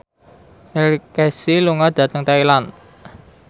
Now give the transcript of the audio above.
Neil Casey lunga dhateng Thailand